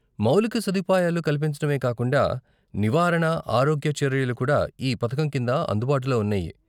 మౌలిక సదుపాయాలు కల్పించటమే కాకుండా, నివారణా ఆరోగ్య చర్యలు కూడా ఈ పథకం కింద అందుబాటులో ఉన్నాయి.